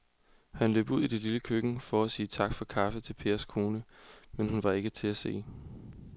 Han løb ud i det lille køkken for at sige tak for kaffe til Pers kone, men hun var ikke til at se.